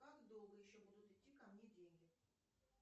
как долго еще будут идти ко мне деньги